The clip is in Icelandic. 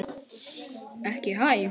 Haukur: Ekki hæ?